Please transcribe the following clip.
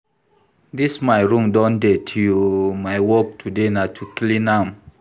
Dis my room don dirty oo, my work today na to clean am